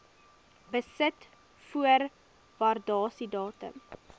besit voor waardasiedatum